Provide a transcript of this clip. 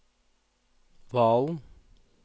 Valen